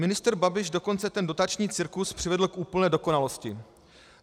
Ministr Babiš dokonce ten dotační cirkus přivedl k úplné dokonalosti.